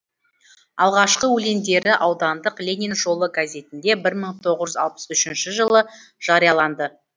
алғашқы өлеңдері аудандық ленин жолы газетінде бір мың тоғыз жүз алпыс үшінші жылы жарияланды